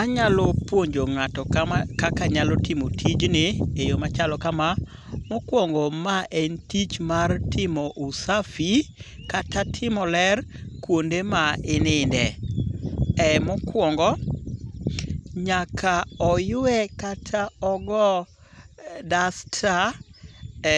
Anyalo puonjo ng'ato kaka nyalo timo tijni e yo machalo kama; Mokwongo ma en tich mar timo usafi kata timo ler kuonde ma ininde. Mokwongo nyaka oywe kata ogo dasta